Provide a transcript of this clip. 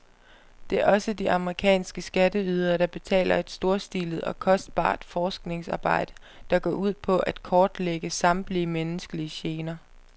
Det er også de amerikanske skatteydere, der betaler et storstilet og kostbart forskningsarbejde, der går ud på at kortlægge samtlige menneskelige gener.